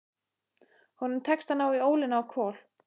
Honum tekst að ná í ólina á Kol.